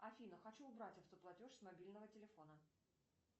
афина хочу убрать автоплатеж с мобильного телефона